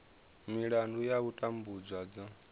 milandu ya u tambudzwa dzo